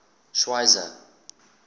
schweizer